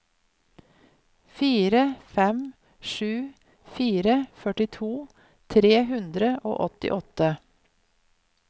fire fem sju fire førtito tre hundre og åttiåtte